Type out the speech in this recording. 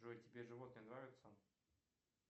джой тебе животные нравятся